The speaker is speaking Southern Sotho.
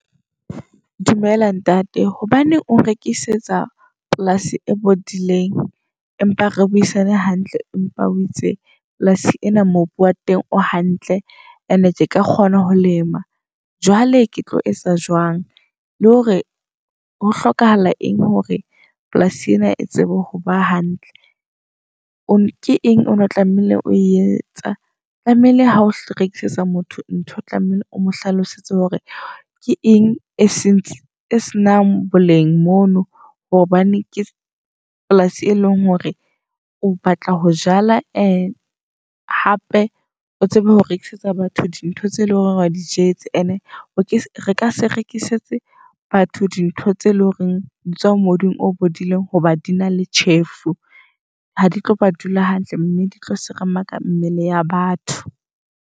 Dumela ntate hobaneng ong rekisetsa polasi e bodileng, empa re buisane hantle. Empa o itse polasi ena mobu wa teng o hantle and-e ke ka kgona ho lema. Jwale ke tlo etsa jwang, le hore ho hlokahala eng hore polasi ena e tsebe hoba hantle. Ke eng ono tlameile ho e etsa, tlamehile ha o rekisetsa motho ntho tlamehile o mo hlalosetse hore ke eng e senang boleng mono. Hobane ke polasi e leng hore o batla ho jala hape o tsebe ho rekisetsa batho di ntho tse leng hore o di jetse. And-e re ka se rekisetse batho dintho tse leng hore di tswa ho mobung o bodileng hoba dina le tjhefu. Ha di tlo ba dula hantle mme di tlo seremaka mmele ya batho.